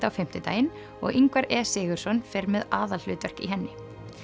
á fimmtudaginn og Ingvar e Sigurðsson fer með aðalhlutverk í henni